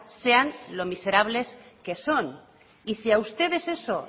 sean lo miserables que son y si a ustedes eso